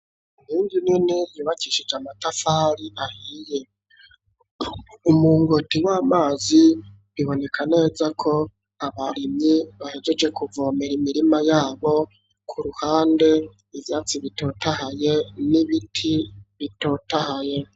Inkingi nini yubakishije amatafari ahiye, umungoti w'amazi biboneka neza ko abarimyi bahejeje kuvomera imirima yabo ku ruhande ivyatsi bitotahaye n'ibiti bitotahaye.